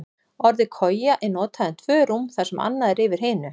Orðið koja er notað um tvö rúm þar sem annað er yfir hinu.